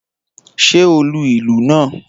Ṣé o lu ìlù náà?